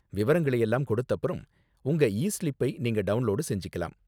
விவரங்களை எல்லாம் கொடுத்தப்பறம் உங்க இ ஸ்லிப்பை நீங்க டவுன்லோடு செஞ்சிக்கலாம்.